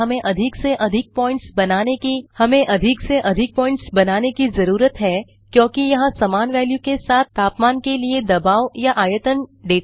अतः इस डेटा को प्लॉट करने के लिए हमें अधिक से अधिक प्वॉइंट्स बनाने की जरूरत है क्योंकि यहाँ समान वेल्यू के साथ तापमान के लिए दबाव या आयतन डेटा हैं